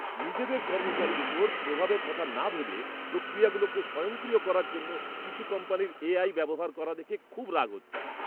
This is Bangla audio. নিজেদের কর্মচারীর উপর প্রভাবের কথা না ভেবে প্রক্রিয়াগুলোকে স্বয়ংক্রিয় করার জন্য কিছু কোম্পানির এআই ব্যবহার করা দেখে খুব রাগ হচ্ছে।